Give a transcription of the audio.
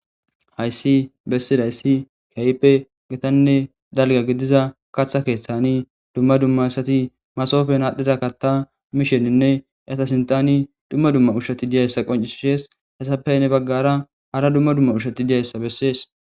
hayssi bessidayssi kayipe getanne dalga gidiza kaatha keeththani dumma dumma assati masofen aadhdhida katta miisheninne yata sintani dumma dumma ushshati diyayssa qoncishishees hessappey ne baggara hara dumma dumma ushshati diyayssa bessees